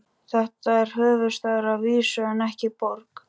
Þetta er höfuðstaður að vísu en ekki borg.